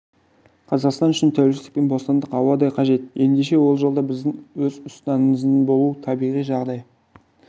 қазақстан үшін тәуелсіздік пен бостандық ауадай қажет ендеше ол жолда біздің өз ұстанымдарымыздың болуы табиғи жағдай